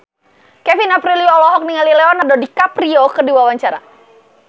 Kevin Aprilio olohok ningali Leonardo DiCaprio keur diwawancara